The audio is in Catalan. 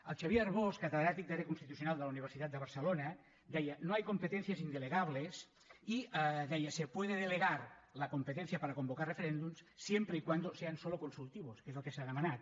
el xavier arbós catedràtic d’àrea constitucional de la universitat de barcelona deia no hay competencias indelegables i deia se puede delegar la competencia para convocar referéndums siempre y cuando sean solo consultivos que és el que s’ha demanat